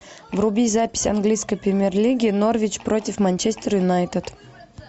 вруби запись английской премьер лиги норвич против манчестер юнайтед